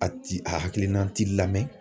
A ti a hakilina ti lamɛn